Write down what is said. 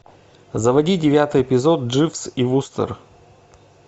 заводи девятый эпизод дживс и вустер